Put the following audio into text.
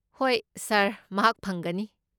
ꯍꯣꯏ, ꯁꯥꯔ, ꯃꯍꯥꯛ ꯐꯪꯒꯅꯤ꯫